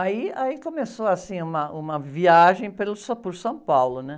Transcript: Aí, aí, começou, assim, uma, uma viagem por São Paulo.